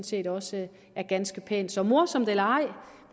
set også er ganske pænt så morsomt eller ej